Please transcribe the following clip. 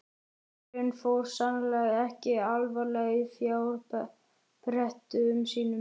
Maðurinn fór sannarlega ekki alfaraleið í fjárprettum sínum.